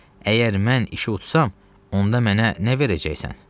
Əgər mən işi utsam, onda mənə nə verəcəksən?